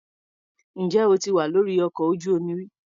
Ǹjẹ́ o ti wà lórí ọkọ̀ ojú-omi rí?